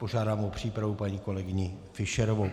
Požádám o přípravu paní kolegyni Fischerovou.